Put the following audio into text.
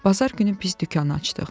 Bazar günü biz dükanı açdıq.